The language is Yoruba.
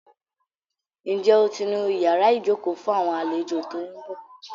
Ǹjẹ́ o ti nu ìyára ìjókòó fún àwọn àlejò tó ń bọ̀?